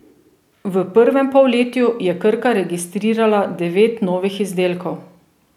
V prvem polletju je Krka registrirala devet novih izdelkov.